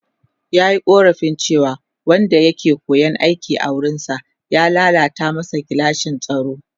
Ya yi korafin cewa wanda ya ke koyon aiki a wurinsa ya lalata masa gilashin tsaro.